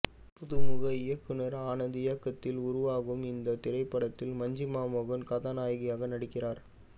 புதுமுக இயக்குனர் ஆனந்த் இயக்கத்தில் உருவாகும் இந்த திரைப்படத்தில் மஞ்சிமா மோகன் கதாநாயகியாக நடிக்கிறார்